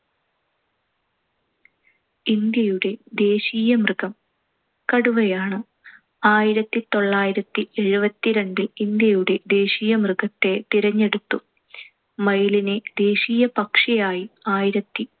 ഇന്ത്യയുടെ ദേശീയ മൃഗം കടുവയാണ്. ആയിരത്തിത്തൊള്ളായിരത്തി എഴുപത്തിരണ്ടിൽ ഇന്ത്യയുടെ ദേശീയമൃഗത്തെ തിരഞ്ഞെടുത്തു. മയിലിനെ ദേശീയ പക്ഷിയായി ആയിരത്തി